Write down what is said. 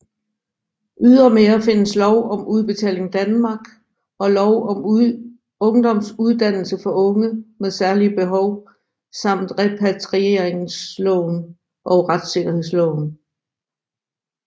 Ydermere findes lov om Udbetaling Danmark og lov om ungdomsuddannelse for unge med særlige behov samt repatrieringsloven og retssikkerhedsloven